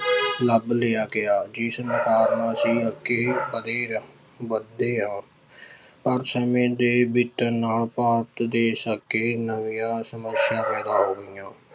ਲੱਭ ਲਿਆ ਗਿਆ, ਜਿਸ ਕਾਰਨ ਅਸੀਂ ਅੱਗੇ ਵਧੇ ਹਾਂ ਪਰ ਸਮੇਂ ਦੇ ਬੀਤਣ ਨਾਲ ਭਾਰਤ ਦੇ ਨਵੀਆਂ ਸਮੱਸਿਆ ਪੈਦਾ ਹੋ ਗਈਆਂ।